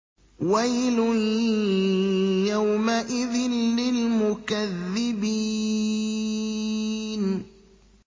وَيْلٌ يَوْمَئِذٍ لِّلْمُكَذِّبِينَ